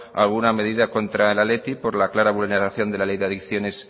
alguna medida contra el athletic por la clara vulneración de la ley de adicciones